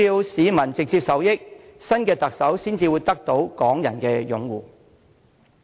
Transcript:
市民必須直接受益，新的特首才會得到港人擁護。